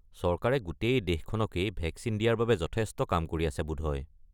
চৰকাৰে গোটেই দেশখনকেই ভেকচিন দিয়াৰ বাবে যথেষ্ট কাম কৰি আছে বোধহয়।